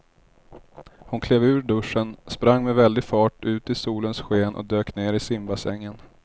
Hon klev ur duschen, sprang med väldig fart ut i solens sken och dök ner i simbassängen.